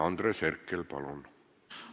Andres Herkel, palun!